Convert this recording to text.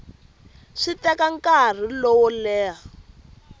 swi teka nkarhi wo leha